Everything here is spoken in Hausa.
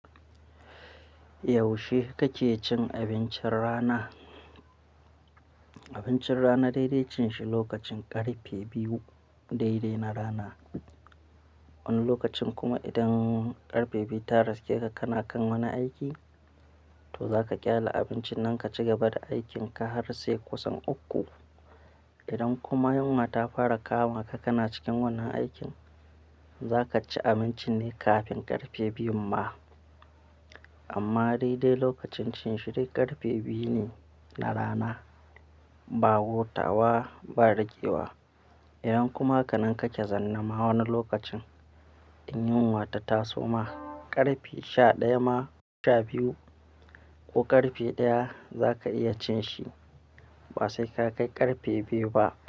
Yaushe kake cin abincin rana? Abincin rana daidai cin shi lokacin ƙarfe biyu daidai na rana. Wani lokacin kuma idan ƙarfe biyu ta riske ka kana kan wani aiki, to za ka ƙyale abincin nan ka ci gaba da aikin ka har sai kusan uku. Idan kuma yunwa ta fara kama ka kana cikin wannan aikin, za ka ci abincin ne kafin ƙarfe biyun ma. Amma daidai lokacin cin shi dai ƙarfe biyu ne na rana, ba gotawa, ba ragewa. Idan kuma hakanan kake zanne ma wani lokacin, in yunwa ta taso ma ƙarfe sha ɗaya ma, sha biyu ko ƙarfe ɗaya za ka iya cin shi ba sai ka kai ƙarfe biyu ba.